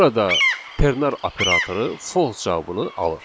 Burada ternar operatoru false cavabını alır.